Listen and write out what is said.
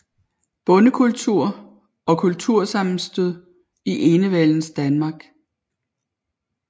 Bondekultur og kultursammenstød i enevældens Danmark